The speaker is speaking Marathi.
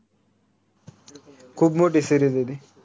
खूप मोठी series आय ती